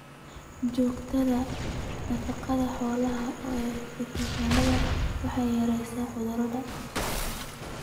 Xoojinta nafaqada xoolaha ee fiitamiinada waxay yaraysaa cudurrada.